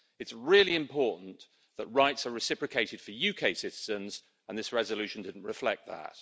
It's really important that rights are reciprocated for UK citizens and this resolution didn't reflect that.